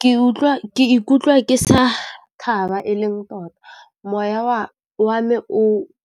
Ke ikutlwa ke sa thaba e leng, tota moya wa me o